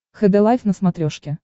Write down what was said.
хд лайф на смотрешке